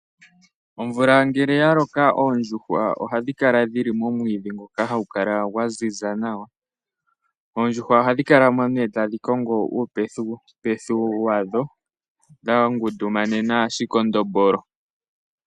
Omvula ngele ya loko, oondjuhwa ohadhi kala dhili momwiidhi gwa ziza nawa. Ohadhi kala mo tadhi kongo uupethupethu wadho dha ngundumanena oshikondombolo.